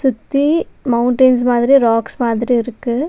சுத்தி மௌண்டென்ஸ் மாதிரி ராக்ஸ் மாதிரி இருக்கு.